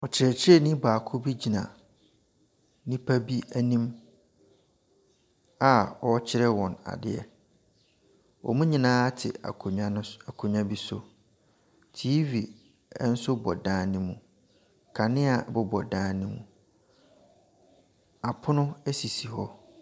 Kyerɛkyerɛni baako bi gyina nnipa bi anim a wɔrekyerɛ wɔn adeɛ. Wɔn nyinaa te akonnwa no so, akonnwa bi so. TV nso bɔ dan no mu. Kanea bobɔ dan no mu. Apono sisi hɔ.